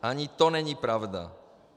Ani to není pravda.